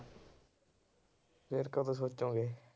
ਫਿਰ ਕਦੋਂ ਸੋਚੋਂਗੇ